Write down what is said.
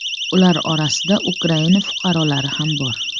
Ular orasida Ukraina fuqarolari ham bor.